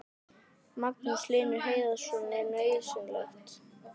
Magnús Hlynur Hreiðarsson: Er þetta nauðsynlegt?